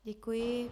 Děkuji.